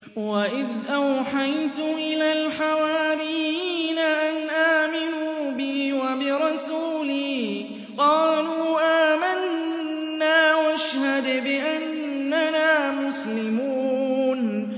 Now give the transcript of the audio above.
وَإِذْ أَوْحَيْتُ إِلَى الْحَوَارِيِّينَ أَنْ آمِنُوا بِي وَبِرَسُولِي قَالُوا آمَنَّا وَاشْهَدْ بِأَنَّنَا مُسْلِمُونَ